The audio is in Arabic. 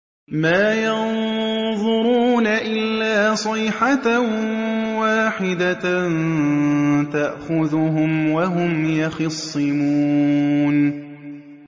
مَا يَنظُرُونَ إِلَّا صَيْحَةً وَاحِدَةً تَأْخُذُهُمْ وَهُمْ يَخِصِّمُونَ